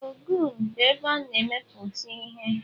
Ogun bụ ebe a na-emepụta ihe.